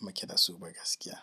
muke dasu ba gaskiya.